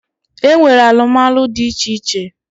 E nwere alụmalụ dị iche iche.